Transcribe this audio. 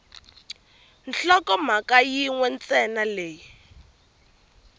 nhlokomhaka yin we ntsena leyi